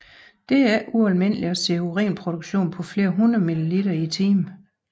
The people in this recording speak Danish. Det er ikke ualmindeligt at se urinproduktion på flere hundrede mililiter i timen